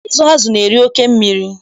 Ịzụ azụ na-eri oke mmiri.